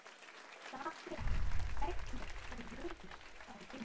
Stasía, hvernig er veðurspáin?